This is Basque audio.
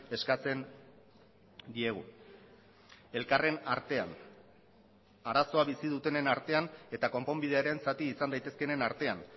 eskatzen diegu elkarren artean arazoa bizi dutenen artean eta konponbidearen zati izan daitezkeenen artean